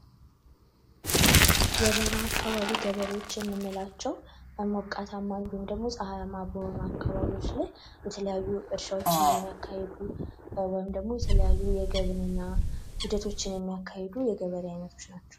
የበረሃ አካባቢ ገበሬዎች የምንላቸው በሞቃታማ እንዲሁም ደግሞ ጸሃያማ በሆኑ አካባቢዎች የተለያዩ እርሻ የሚያካሄዱ ወይም ደግሞ የተለያዩ የግብርና ሂደቶችን የሚያካሂዱ የተለያዩ የገበሬ ዐይነቶች ናቸው።